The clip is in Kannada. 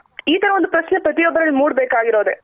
ಇ ತರ ಒಂದು ಪ್ರಶ್ನೆ ಪ್ರತಿಯೊಬ್ಬರಲ್ಲಿ ಮೂಡ್ ಬೇಕಾಗಿರೋದೆ.